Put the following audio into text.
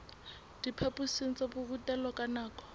diphaphosing tsa borutelo ka nako